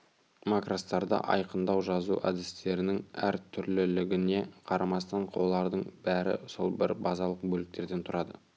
макростарды айқындау жазу әдістерінің әр түрлілігіне қарамастан олардың бәрі сол бір базалық бөліктерден тұрады